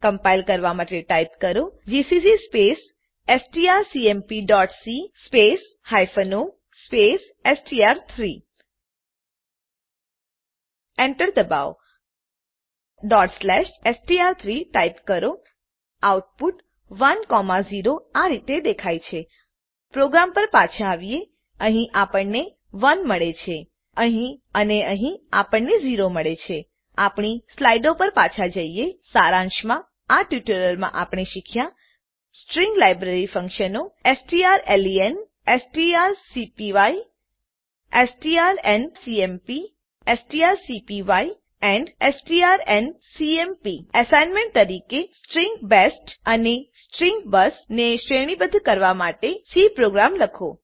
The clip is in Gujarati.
કમ્પાઈલ કરવાં માટે ટાઈપ કરો જીસીસી સ્પેસ strcmpસી space o space STR three Enter દબાવો str3 ટાઈપ કરો આઉટપુટ 10 આ રીતે દેખાય છે પ્રોગ્રામ પર પાછા આવીએ અહીં આપણને 1 મળે છે અને અહીં આપણને 0 મળે છે આપણી સ્લાઈડો પર પાછા જઈએ સારાંશમાં આ ટ્યુટોરીયલમાં આપણે શીખ્યા સ્ટ્રીંગ લાઈબ્રેરી ફંકશનો strlen strcpy strcmp strncpy and strncmp assignment તરીકે સ્ટ્રીંગ બેસ્ટ અને સ્ટ્રીંગ બસ ને શ્રેણીબદ્ધ કરવાં માટે એક સી પ્રોગ્રામ લખો